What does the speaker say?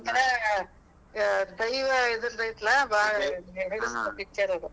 ಒಂಥರಾ ದೈವ ಇದರ್ದ್ ಐತಿಲಾ ಬಾಳ್ picture ಅದು.